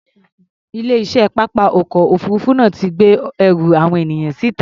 Ilé-iṣẹ́ pápá ọkọ̀ òfuurufú náà ti gbé ẹrù àwọn ènìyàn síta.